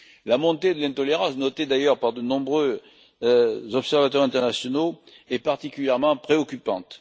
La montée de l'intolérance, notée d'ailleurs par de nombreux observateurs internationaux, est particulièrement préoccupante.